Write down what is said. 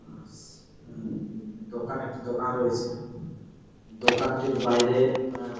আস- একটি দোকান রয়েছে দোকানটির বাইরে আহ--